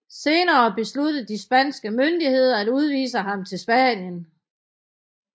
Senere besluttede de spanske myndigheder at udvise ham til Spanien